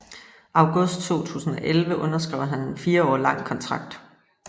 August 2011 underskrev han en fire år lang kontrakt